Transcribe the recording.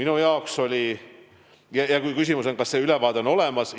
Küsimus oli selle kohta, kas ülevaade on olemas.